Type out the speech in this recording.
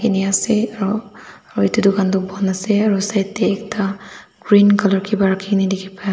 ni ase aru aru etu dukan tu bon ase aru side teh ekta green colour kiba rakhi na dikhi pai ase.